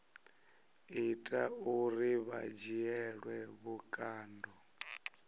ita uri vha dzhielwe vhukando